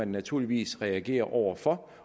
naturligvis reagere over for